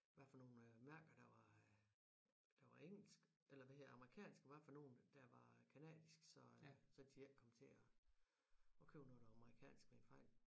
Hvad for nogle mærker der var øh der var engelsk eller hvad hedder amerikansk og hvad for nogen at der var canadisk så så de ikke kom til at at købe noget der var amerikansk ved en fejl